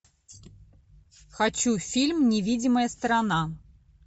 хочу фильм невидимая сторона